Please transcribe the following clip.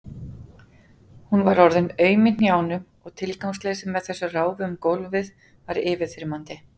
Hún var orðin aum í hnjánum og tilgangsleysið með þessu ráfi um gólfið var yfirþyrmandi.